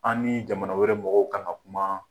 An ni jamana wɛrɛ mɔgɔw k'an ka kuma